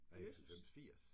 Jøsses!